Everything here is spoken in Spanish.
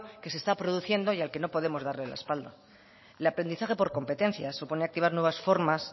que se está produciendo y al que no podemos dar la espalda el aprendizaje por competencia supone activar nuevas formas